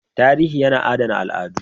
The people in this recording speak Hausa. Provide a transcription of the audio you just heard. Tarihi yana adana al'adu